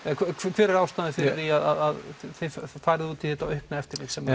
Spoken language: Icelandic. hver er ástæðan fyrir því að þið farið út í þetta aukna eftirlit sem